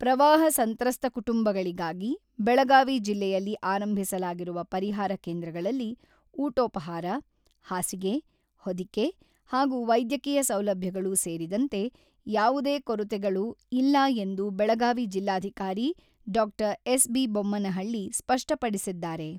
ಪ್ರವಾಹ ಸಂತ್ರಸ್ತ ಕುಟುಂಬಗಳಿಗಾಗಿ ಬೆಳಗಾವಿ ಜಿಲ್ಲೆಯಲ್ಲಿ ಆರಂಭಿಸಲಾಗಿರುವ ಪರಿಹಾರ ಕೇಂದ್ರಗಳಲ್ಲಿ ಊಟೋಪಹಾರ, ಹಾಸಿಗೆ, ಹೊದಿಕೆ ಹಾಗೂ ವೈದ್ಯಕೀಯ ಸೌಲಭ್ಯಗಳು ಸೇರಿದಂತೆ ಯಾವುದೇ ಕೊರತೆಗಳು ಇಲ್ಲ ಎಂದು ಬೆಳಗಾವಿ ಜಿಲ್ಲಾಧಿಕಾರಿ ಡಾ.ಎಸ್.ಬಿ.ಬೊಮ್ಮನಹಳ್ಳಿ ಸ್ಪಷ್ಟಪಡಿಸಿದ್ದಾರೆ.